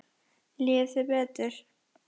Líður þér betur?